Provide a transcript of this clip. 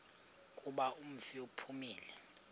kuba umfi uphumile